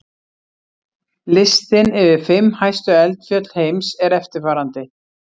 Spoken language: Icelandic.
Listinn yfir fimm hæstu eldfjöll heims er eftirfarandi: